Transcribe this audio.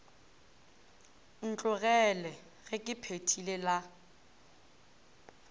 ntlogele ge ke phethile la